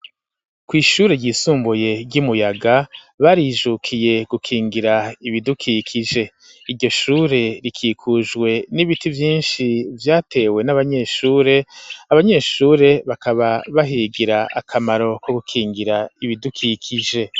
Kw'ishure ryisumbuye ryi Muyaga barijukiye gukingira ibidukikije iryo shure rikikujwe n'ibiti vyishi vyatewe n'abanyeshure, Abanyeshure bakaba bahigira akamaro ko gukingira ibidukikije.